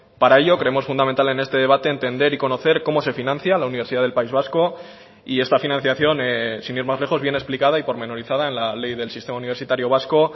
para ello creemos fundamental en este debate entender y conocer cómo se financia la universidad del país vasco y esta financiación sin ir más lejos viene explicada y pormenorizada en la ley del sistema universitario vasco